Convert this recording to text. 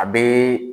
A bɛ